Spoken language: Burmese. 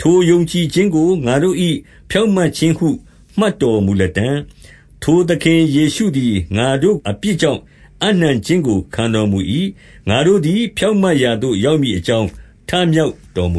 ထိုယုံကြည်ခြင်းကို ငါတို့၏ဖြောင့်မတ်ခြင်းဟု မှတ်တော်မူလတံ့။ 25 ထိုသခင်ယေရှုသည် ငါတို့အပြစ်ကြောင့် အပ်နှံခြင်းကို ခံတော်မူ၏။ ငါတို့သည်ဖြောင့်မတ်ရာသို့ ရောက်မည်အကြောင်း ထမြောက်တော်မူ